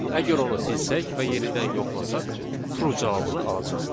Əgər onu silsək və yenidən yoxlasaq, true cavabını alacağıq.